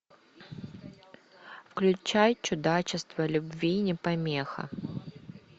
включай чудачество любви не помеха